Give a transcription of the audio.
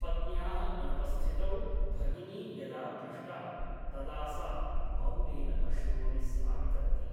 पत्न्याः अनुपस्थितौ भगिनी यदा पृष्टा तदा सा मौनेन अश्रूणि स्रावितवती ।